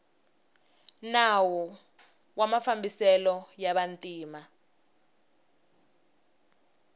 nawu wa mafambiselo ya vantima